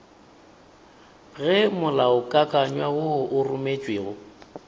ge molaokakanywa wo o rometšwego